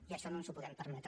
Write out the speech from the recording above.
i això no ens ho podem permetre